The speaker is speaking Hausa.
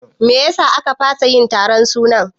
Meyasa a ka fasa yin taron sunan?